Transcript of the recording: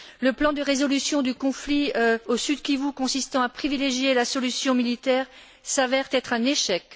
Le plan de résolution du conflit au Sud Kivu consistant à privilégier la solution militaire s'avère être un échec.